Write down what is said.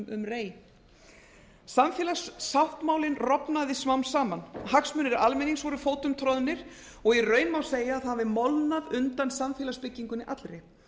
rei samfélagssáttmálinn rofnaði smám saman hagsmunir almennings voru fótum troðnir og í raun má segja að það hafi molnað undan samfélagsbyggingunni allri